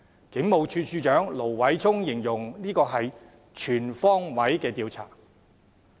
警務處處長盧偉聰形容這是全方位的調查。